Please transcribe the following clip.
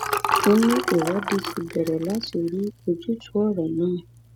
ó ní ìwádìí ti bẹrẹ láti rí ojútùú ọrọ náà